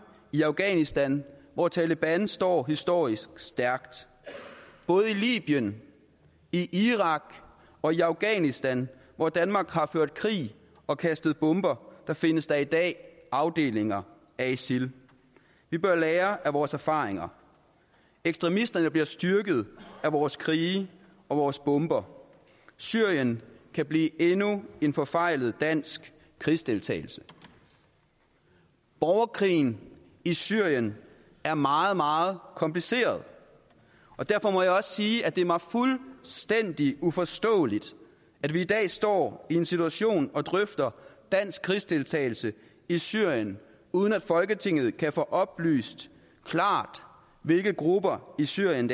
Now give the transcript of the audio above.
i afghanistan hvor taleban står historisk stærkt både i libyen i irak og i afghanistan hvor danmark har ført krig og kastet bomber findes der i dag afdelinger af isil vi bør lære af vores erfaringer ekstremisterne bliver styrket af vores krige og vores bomber syrien kan blive endnu en forfejlet dansk krigsdeltagelse borgerkrigen i syrien er meget meget kompliceret og derfor må jeg også sige at det er mig fuldstændig uforståeligt at vi i dag står i en situation og drøfter dansk krigsdeltagelse i syrien uden at folketinget kan få oplyst klart hvilke grupper i syrien